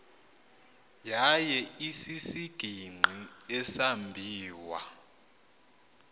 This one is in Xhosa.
yaye isisigingqi esambiwa